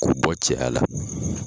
Ko bɔ cɛya la.